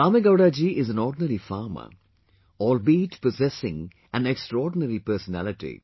Kamegowdaji is an ordinary farmer, albeit possessing an extraordinary personality